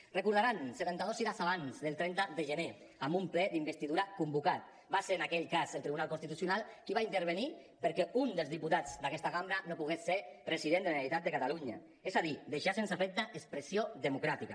ho recordaran setanta dos hores abans del trenta de gener amb un ple d’investidura convocat va ser en aquell cas el tribunal constitucional qui va intervenir perquè un dels diputats d’aquesta cambra no pogués ser president de la generalitat de catalunya és a dir deixar sense efecte expressió democràtica